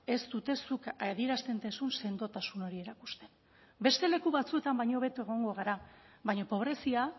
ez dute zuk adierazten duzun sendotasun hori erakusten beste leku batzuetan baino hobeto egongo gara baina pobrezia